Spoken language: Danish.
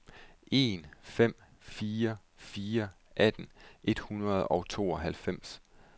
en fem fire fire atten et hundrede og tooghalvfems